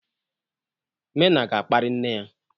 Mena ga-akparị nne ya.